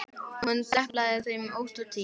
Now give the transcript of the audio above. Hún deplaði þeim ótt og títt.